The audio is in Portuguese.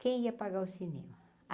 Quem ia pagar o cinema?